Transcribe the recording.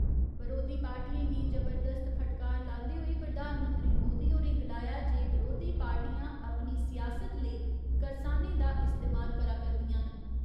बरोधी पार्टियें गी जबरदस्त फटकार लांदे होई प्रधानमंत्री मोदी होरें गलाया जे बरोधी पार्टियां अपनी सियासत लेई करसानें दा इस्तेमाल करा करदिआं न।